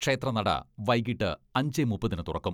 ക്ഷേത്രനട വൈകീട്ട് അഞ്ചേ മുപ്പതിന് തുറക്കും.